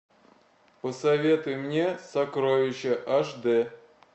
посоветуй мне сокровища аш дэ